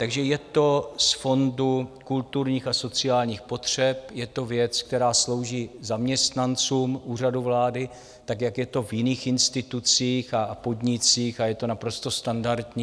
Takže je to z Fondu kulturních a sociálních potřeb, je to věc, která slouží zaměstnancům Úřadu vlády, tak jak je to v jiných institucích a podnicích a je to naprosto standardní.